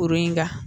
Kuru in ka